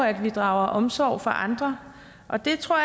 at vi drager omsorg for andre og det tror